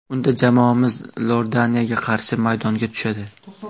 Unda jamoamiz Iordaniyaga qarshi maydonga tushadi.